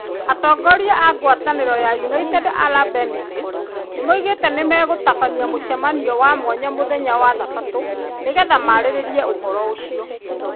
Atongoria a ngwataniro ya United Arab Emirates nimaugite nimegutabania mucemanio wa mwanya muthenya wa thabatũ nĩgeetha maarĩrĩrie uhoro ucio.